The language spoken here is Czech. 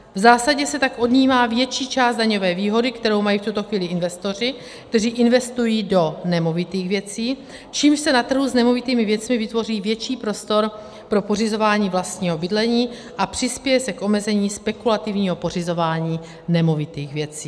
V zásadě se tak odnímá větší část daňové výhody, kterou mají v tuto chvíli investoři, kteří investují do nemovitých věcí, čímž se na trhu s nemovitými věcmi vytvoří větší prostor pro pořizování vlastního bydlení a přispěje se k omezení spekulativního pořizování nemovitých věcí.